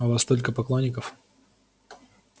о вас только поклонников